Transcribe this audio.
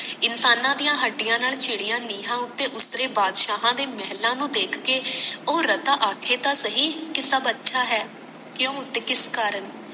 ਇਨਸਾਨਾਂ ਦੀਆਂ ਹੱਡੀਆਂ ਨਾਲ ਚਿੜੀਆਂ ਨੀਹਾਂ ਉਤੇ ਉਤਰੇ ਬਾਦਸ਼ਾਹਾਂ ਦੇ ਮਹਲਾਂ ਨੂੰ ਦੇਖ ਕੇ ਉਹ ਰਤਾ ਆਖੇ ਤਾਂ ਸਹੀ ਕਿ ਸਬ ਅੱਛਾ ਹੈ ਕਿਓਂ ਤੇ ਕਿਸ ਕਰਨ